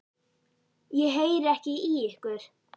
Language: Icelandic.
Ég heyri ekki í ykkur.